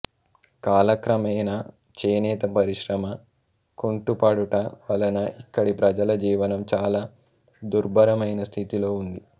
కాలక్రమేణా చేనేత పరిశ్రమ కుంటుపడుట వలన ఇక్కడి ప్రజల జీవనం చాలా దుర్బరమైన స్థితిలో ఉంది